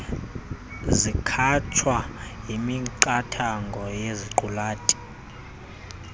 zikhatshwa yimiqathango yeziqulathi